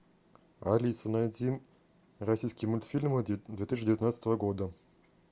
алиса найди российские мультфильмы две тысячи девятнадцатого года